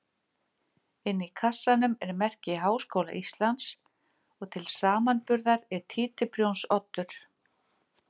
Inni í kassanum er merki Háskóla Íslands og til samanburðar er títuprjónsoddur.